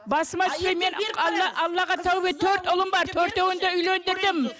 басыма алла аллаға тәубе етем төрт ұлым бар төртеуін де үйлеңдірдім